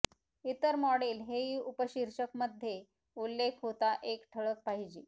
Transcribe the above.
इतर मॉडेल हेही उपशीर्षक मध्ये उल्लेख होता एक ठळक पाहिजे